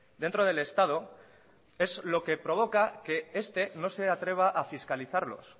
dentro del estado es lo que provoca que este no se atreva a fiscalizarlos